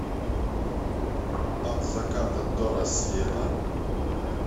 от заката до рассвета